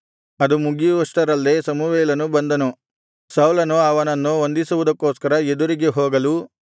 ಅದು ಮುಗಿಯುವಷ್ಟರಲ್ಲೇ ಸಮುವೇಲನು ಬಂದನು ಸೌಲನು ಅವನನ್ನು ವಂದಿಸುವುದಕ್ಕೋಸ್ಕರ ಎದುರಿಗೆ ಹೋಗಲು